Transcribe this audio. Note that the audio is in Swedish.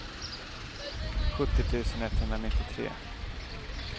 sjuttio tusen etthundranittiotre